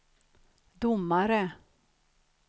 domare